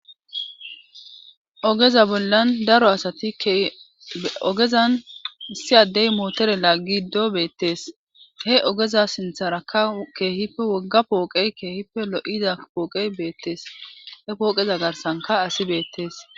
ogeza bollan daro asati ogezan issi addey mootore laaggido beettees he ogeza sintharakka keehippe wogga pooqey keehippe lo7ida pooqey beettees he pooqeza garsanka asi beettees